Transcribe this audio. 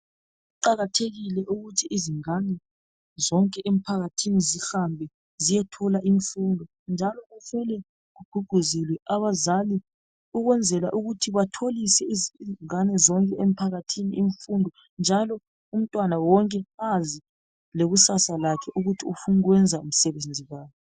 Kuqakathekile ukuthi izingane zonke emphakathini zihambe ziyethola imfundo njalo kumele kugqugquzele abazali ukwenzela ukuthi batholise izingane zonke emphakathini imfundo njalo umntwana wonke azi lekusasa lakhe ukuthi ufuna ukwenza msebenzi bani.